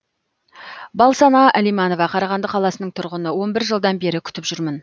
балсана әлиманова қарағанды қаласының тұрғыны он бір жылдан бері күтіп жүрмін